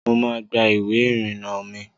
Mo máa gba ìwé ìrìnà mi